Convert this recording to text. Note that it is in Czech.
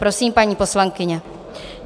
Prosím, paní poslankyně.